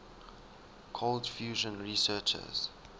cold fusion researchers